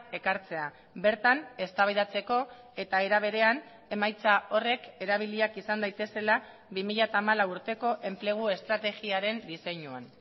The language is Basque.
ekartzea bertan eztabaidatzeko eta era berean emaitza horrek erabiliak izan daitezela bi mila hamalau urteko enplegu estrategiaren diseinuan